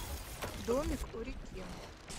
домик у реки